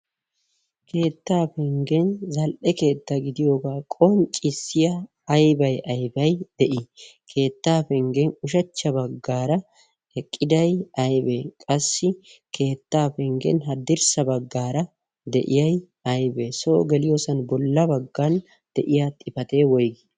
keettaa penggen zal77e keetta gidiyoogaa qonccissiya aibai aibai de7ii? keettaa penggen ushachcha baggaara eqqidai aibee? qassi keettaa penggen haddirssa baggaara de7iyai aibee? soo geliyoosan bolla baggan de7iya xifatee woigii?